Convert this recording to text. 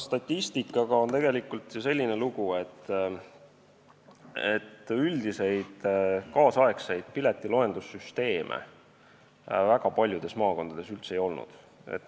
Statistikaga on tegelikult selline lugu, et üldiseid tänapäevaseid piletiloendussüsteeme väga paljudes maakondades varem üldse ei olnud.